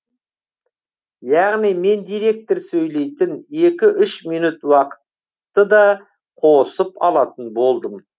яғни мен директор сөйлейтін екі үш минут уақытты да қосып алатын болдым